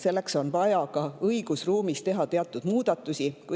Selleks on vaja ka õigusruumis teha teatud muudatusi.